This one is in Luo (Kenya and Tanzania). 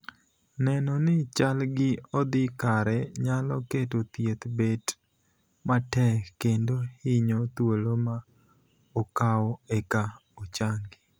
Neno ni chal gii odhi kare nyalo keto thieth bet matek kendo hinyo thuolo ma okawo eka ochangi.